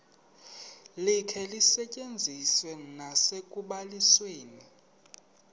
likhe lisetyenziswe nasekubalisweni